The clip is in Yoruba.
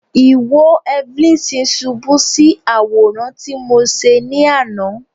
Iwo Evelyns ṣubu si Aworan ti Mo ṣe ni ana